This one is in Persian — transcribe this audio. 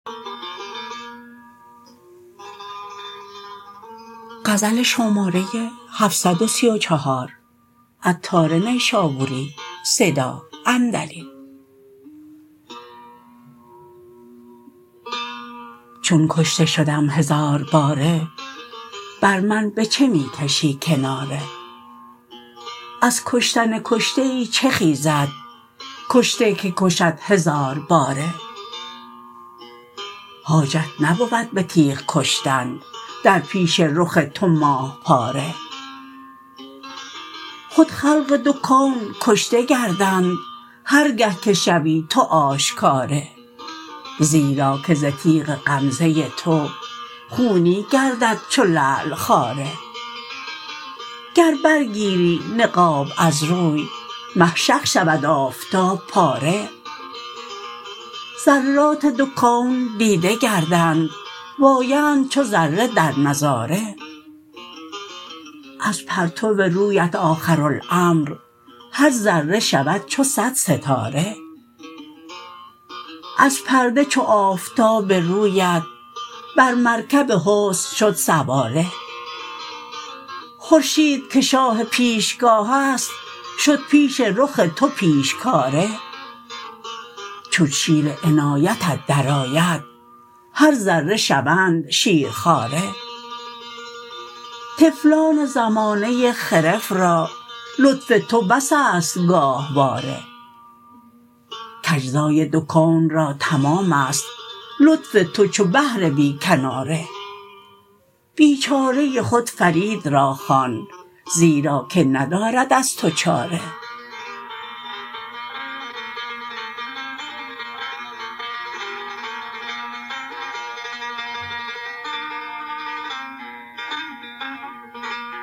چون کشته شدم هزار باره بر من به چه می کشی کناره از کشتن کشته ای چه خیزد کشته که کشد هزار باره حاجت نبود به تیغ کشتن در پیش رخ تو ماه پاره خود خلق دو کون کشته گردند هر گه که شوی تو آشکاره زیرا که ز تیغ غمزه تو خونی گردد چو لعل خاره گر بر گیری نقاب از روی مه شق شود آفتاب پاره ذرات دو کون دیده گردند وایند چو ذره در نظاره از پرتو رویت آخرالامر هر ذره شود چو صد ستاره از پرده چو آفتاب رویت بر مرکب حسن شد سواره خورشید که شاه پیشگاه است شد پیش رخ تو پیشکاره چون شیر عنایتت درآید هر ذره شوند شیرخواره طفلان زمانه خرف را لطف تو بس است گاهواره کاجزای دو کون را تمام است لطف تو چو بحر بی کناره بیچاره خود فرید را خوان زیرا که ندارد از تو چاره